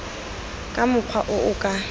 ka mokgwa o o ka